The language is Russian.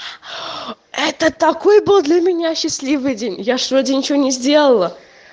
это такой был для меня счастливый день я же вроде ничего не сделала